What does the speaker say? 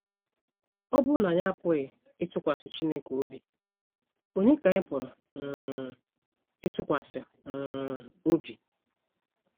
Ọ bụrụ na anyị apụghị ịtụkwasị Chineke obi, ònye ka anyị pụrụ um ịtụkwasị um obi?